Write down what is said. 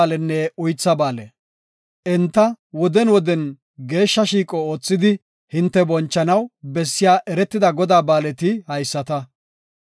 Enta woden woden geeshsha shiiqo oothidi hinte bonchanaw bessiya eretida Godaa ba7aaleti haysata;